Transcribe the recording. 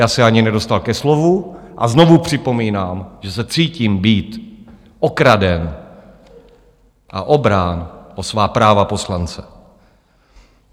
Já se ani nedostal ke slovu, a znovu připomínám, že se cítím být okraden a obrán o svá práva poslance.